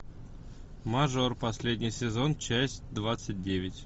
мажор последний сезон часть двадцать девять